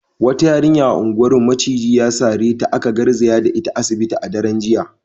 Wata yarinya a unguwarmu maciji ya sare ta, aka garzaya da ita asibiti a daren jiya.